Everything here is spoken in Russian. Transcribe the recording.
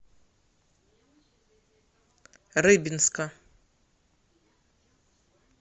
рыбинска